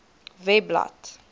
webblad